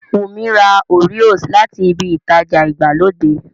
Wùnmí ra Oreos láti ibi ìtajà ìgbàlódé